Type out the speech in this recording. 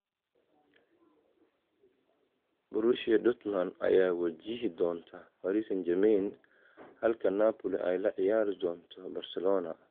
Borussia Dortmund ayaa wajihi doonta Paris St-Germain halka Napoli ay la ciyaari doonto Barcelona.